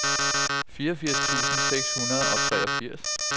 fireogfirs tusind seks hundrede og treogfirs